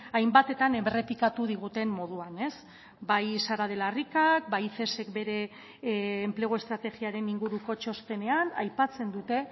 hainbatetan errepikatu diguten moduan bai sara de la ricak bai ces ek bere enplegu estrategiaren inguruko txostenean aipatzen dute